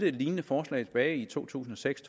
et lignende forslag tilbage i to tusind og seks